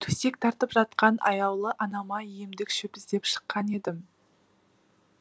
төсек тартып жатқан аяулы анама емдік шөп іздеп шыққан едім